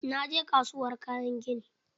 Na je kasuwar kayan gini.